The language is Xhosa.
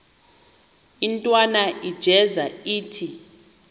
intwana unjeza ithi